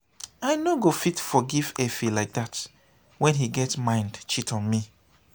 i no go fit forgive efe like dat wen he get mind cheat on me.